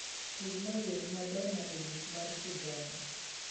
tugna wer mar madonna e buk mar sigana